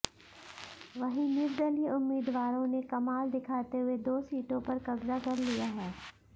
वहीं निर्दलीय उम्मीदवारों ने कमाल दिखाते हुए दो सीटों पर कब्जा कर लिया है